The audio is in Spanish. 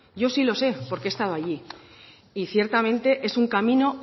yo sí lo sé porque he estado allí y ciertamente es un camino